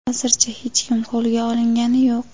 hozircha hech kim qo‘lga olingani yo‘q.